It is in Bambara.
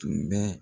Tun bɛ